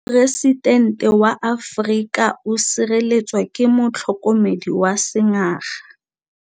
Poresitêntê wa Amerika o sireletswa ke motlhokomedi wa sengaga.